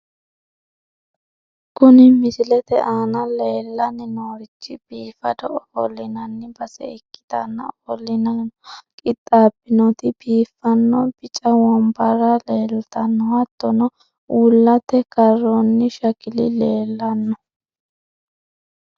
Kuni misilete aana leellanni noorichi biifado ofollinanni base ikkitanna, ofollinara qixxaabbinoti biiffanno bica wombarra leeltanno, hattono uullate karroonni shakili leellanno.